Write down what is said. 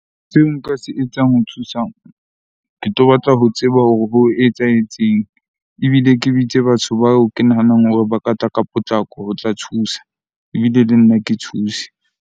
Seo nka se etsang ho thusa, ke tlo batla ho tseba hore ho etsahetseng. Ebile ke bitse batho bao ke nahanang hore ba ka tla ka potlako ho tla thusa ebile le nna ke thuse.